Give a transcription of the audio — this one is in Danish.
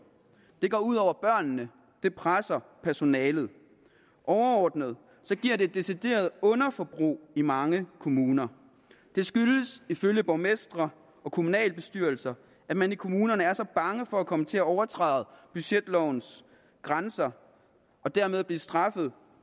det går ud over børnene det presser personalet overordnet giver det decideret underforbrug i mange kommuner det skyldes ifølge borgmestre og kommunalbestyrelser at man i kommunerne er så bange for at komme til at overtræde budgetlovens grænser og dermed blive straffet